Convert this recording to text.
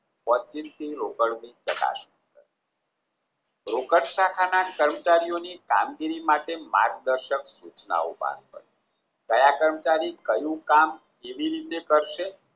રોકડના ખાતા કર્મચારીઓના ની કામગીરી માટે માર્ગદર્શન સુચનાઓ કયા કર્મમચારી કયું કામ કેવી રીતે કરશે